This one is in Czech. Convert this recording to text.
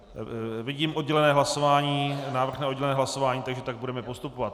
Vidím oddělené hlasování, návrh na oddělené hlasování, takže tak budeme postupovat.